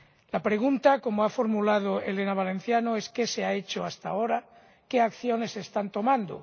La pregunta, como ha formulado Elena Valenciano, es qué se ha hecho hasta ahora, qué acciones se están tomando.